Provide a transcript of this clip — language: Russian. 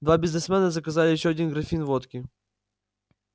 два бизнесмена заказали ещё один графин водки